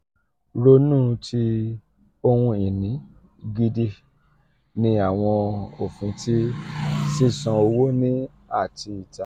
ronu ti ohun-ini gidi ni awọn ofin ti sisan owo ni ati ita.